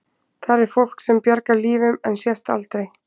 Þar er fólk sem bjargar lífum en sést aldrei.